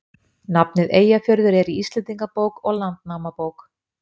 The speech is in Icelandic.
Nafnið Eyjafjörður er í Íslendingabók og Landnámabók.